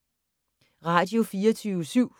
Radio24syv